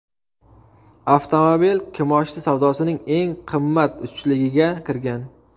Avtomobil kimoshdi savdosining eng qimmat uchligiga kirgan.